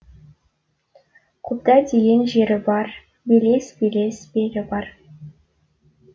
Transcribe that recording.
қобда деген жері бар белес белес белі бар